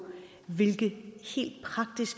hvilke